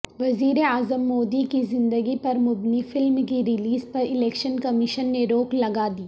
وزیراعظم مودی کی زندگی پرمبنی فلم کی ریلیز پر الیکشن کمیشن نے روک لگادی